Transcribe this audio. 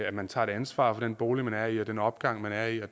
at man tager et ansvar for den bolig man er i og den opgang man er i